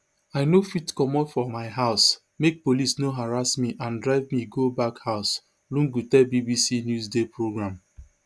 i no fit comot from my house make police no harass me and drive me go back house lungu tell bbc newsday programme